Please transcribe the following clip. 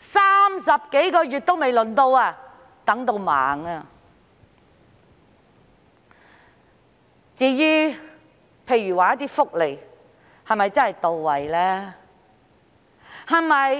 ，30 多個月還未輪候到，真的等到盲。